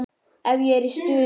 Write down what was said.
Ef ég er í stuði.